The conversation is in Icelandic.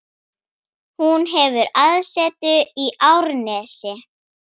Hún hefur aðsetur í Árnesi.